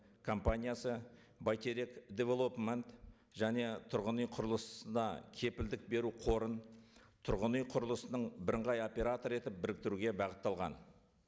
компаниясы бәйтерек девелопмент және тұрғын үй құрылысына кепілдік беру қорын тұрғын үй құрылысының бірыңғай операторы етіп біріктіруге бағытталған